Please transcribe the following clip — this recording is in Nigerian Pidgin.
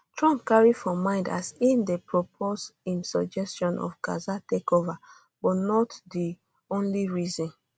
trump carry for mind as im dey propose im suggestion of gaza takeover but not di not di only reason